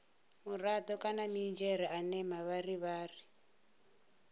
murado kana minidzhere ane mavharivhari